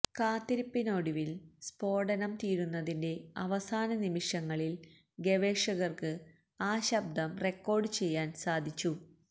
കാത്തിരിപ്പിനൊടുവില് സ്ഫോടനം തീരുന്നതിന്റെ അവസാന നിമിഷങ്ങളില് ഗവേഷകര്ക്ക് ആ ശബ്ദം റെക്കോര്ഡ് ചെയ്യാന് സാധിച്ചു